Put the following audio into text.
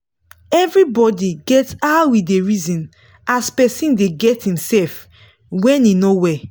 evribodi get how e da reson as person da get himsef when he no well